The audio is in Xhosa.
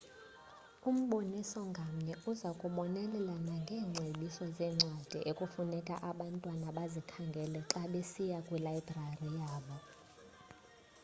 umboniso ngamnye uza kubonelela nangeengcebiso zeencwadi ekufuneka abantwana bazikhangele xa besiya kwilayibrari yabo